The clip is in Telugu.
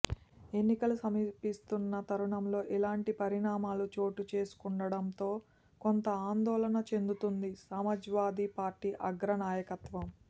ఎన్నికలు సమీపిస్తున్న తరుణంలో ఇలాంటి పరిణామాలు చోటు చేసుకుంటుండటంతో కొంత ఆందోళన చెందుతోంది సమాజ్వాదీ పార్టీ అగ్రనాయకత్వం